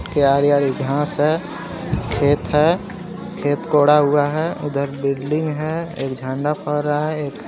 आरी आरी घास है खेत है खेत कोड़ा हुआ है उधर बिल्डिंग है एक झंडा फहर रहा है।